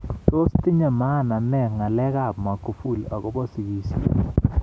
Tos tinye maana ne ng'alek ab Magufuli akobo sigisyet